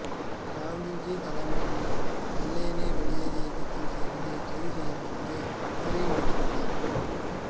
காந்திஜி தலைமையில் வெள்ளையனே வெளியேறு இயக்கத்தில் சேர்ந்து கைது செய்யப்பட்டு சிறையில் அடைக்கப்பட்டார்